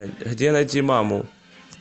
где найти маму